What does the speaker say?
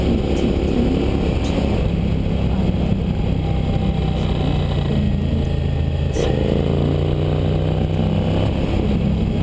ఈ చిత్రం చాలా అందంగా కనిపిస్తూ ఉంది. చాలా అద్భుతంగా ఉంది.